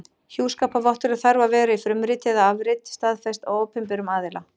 Hjúskaparvottorðið þarf að vera í frumriti eða afrit staðfest af opinberum aðila.